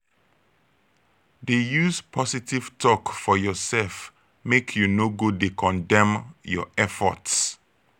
dey use positive tok for urself mek yu no go dey condemn yur effort